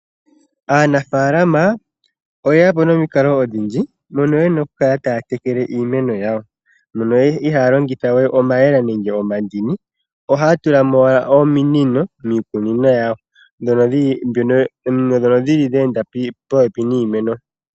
Aanafalama oyeyapo nomikalo odhindji, mono yena okukala taya tekele iimeno yawo. Mono ihaaya longitha we omayemele, nenge omandini. Ohaya tulamo owala ominino miikunino yawo, ominino ndhono dhi li dhe enda popepi niimeno.